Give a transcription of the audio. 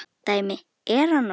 Dæmi: Er hann nokkuð?